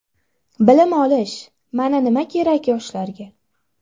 Bilim olish – mana nima kerak yoshlarga.